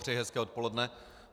Přeji hezké odpoledne.